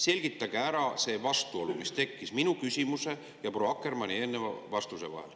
Selgitage ära see vastuolu, mis tekkis minu küsimuse ja proua Akkermanni vastuse vahel.